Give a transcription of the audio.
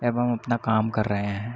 एवं अपना काम कर रहे है।